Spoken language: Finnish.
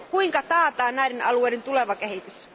Kuinka taataan näiden alueiden tuleva kehitys?